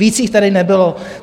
Víc jich tady nebylo.